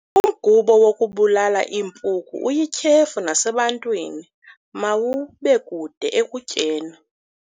Umgubo wokubulala iimpuku uyityhefu nasebantwini, mawubekude ekutyeni.